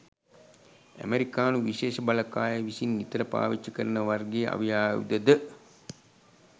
ඇමරිකානු විශේෂ බලකාය විසින් නිතර පාවිච්චි කරන වර්ගයේ අවි ආයුධ ද